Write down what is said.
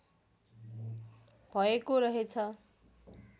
भएको रहेछ